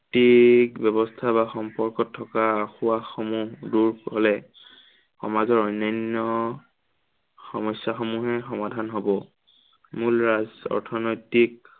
ব্য়ৱস্থা বা সম্পৰ্কত থকা আসোঁবাহসমূহ দূৰ হলে সমাজৰ অন্য়ান্য় সমস্য়াসমূহো সমাধান হ'ব। মূল ৰাজ, অৰ্থনৈতিক